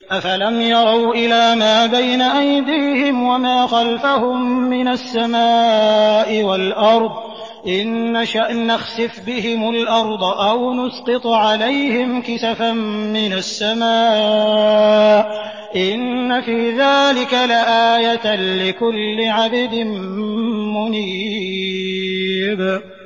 أَفَلَمْ يَرَوْا إِلَىٰ مَا بَيْنَ أَيْدِيهِمْ وَمَا خَلْفَهُم مِّنَ السَّمَاءِ وَالْأَرْضِ ۚ إِن نَّشَأْ نَخْسِفْ بِهِمُ الْأَرْضَ أَوْ نُسْقِطْ عَلَيْهِمْ كِسَفًا مِّنَ السَّمَاءِ ۚ إِنَّ فِي ذَٰلِكَ لَآيَةً لِّكُلِّ عَبْدٍ مُّنِيبٍ